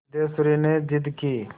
सिद्धेश्वरी ने जिद की